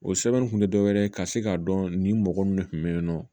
O sɛbɛn kun tɛ dɔwɛrɛ ye ka se k'a dɔn nin mɔgɔ minnu kun bɛ yen nɔ